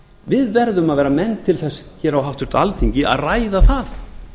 við verðum að vera menn á háttvirtu alþingi til að ræða það